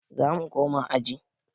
Zamu koma aji